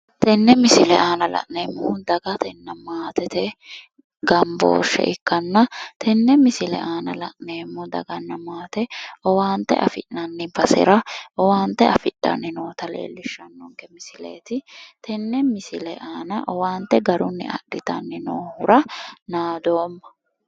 Tene misile aanna la'nneemo dagatena maattete gambooshe ikkana tene misile aanna la'nneemo dagana maate owaante affinanni basera owaante afidhani noota leelishano misileti tene misile aanna owaante garuni adhitani noohura naadooma